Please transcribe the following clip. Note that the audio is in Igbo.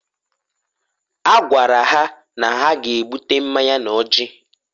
A gwakwara ha na ha g'ebuta mmanya n'ọjị